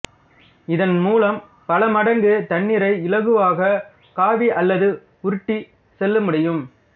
இதன் மூலம் பல மடங்கு தண்ணீரை இலகுவாக காவி அல்லது உருட்டி செல்ல முடியும்